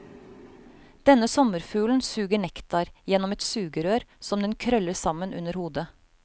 Denne sommerfuglen suger nektar gjennom et sugerør som den krøller sammen under hodet.